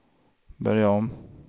börja om